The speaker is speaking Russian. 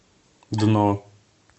дно